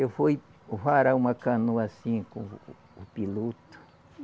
Eu fui varar uma canoa assim com o o piloto.